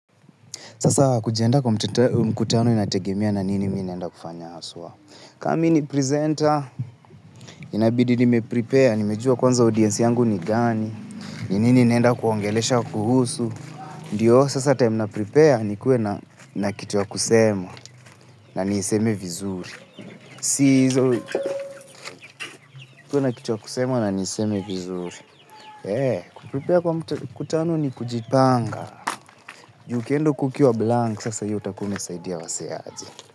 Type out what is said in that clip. Sasa kujiandaa kwa mkutano inategemea na nini mi naenda kufanya haswa. Ka mi ni presenta, inabidi ni meprepare, nimejua kwanza audiensi yangu ni gani, ni nini naenda kuongelesha kuhusu. Ndiyo, sasa time naprepare, nikuwe na kitu ya kusema, na niseme vizuri. Sisi, kuwe na kitu ya kusema na niseme vizuri. He, kuprepare kwa mkutano ni kujipanga. Ju ukienda ukiwa blank, sasa hiyo utakuwa umesaidia wasee aje.